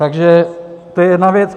Tak to je jedna věc.